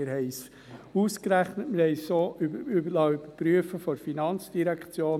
Wir haben dies ausgerechnet und liessen es durch die FIN überprüfen.